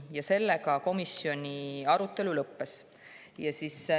Ja sellega komisjoni arutelu lõppes.